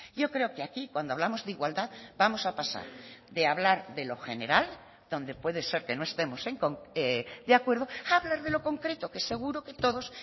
yo creo que aquí cuando hablamos de igualdad vamos a pasar de hablar de lo general donde puede ser que no estemos de acuerdo a hablar de lo concreto que seguro que todos